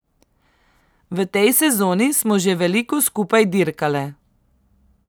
V tej sezoni smo že veliko skupaj dirkale.